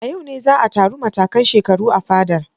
A yau ne za a taru matakan shekaru a fadar.